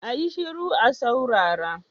A yi shiru a saurara!